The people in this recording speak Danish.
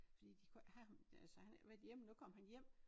Fordi de kunne ikke have ham øh så han havde ikke været hjemme nu kom han hjem